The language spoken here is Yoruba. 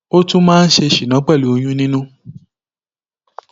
ó tún máa ń ṣe ṣínà pẹlú oyún nínú